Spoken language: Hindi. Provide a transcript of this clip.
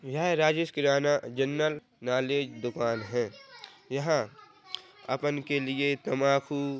यह राजेश किराना जनरल नॉलेज दुकान है यहाँ अपन के लिए तम्बाकू--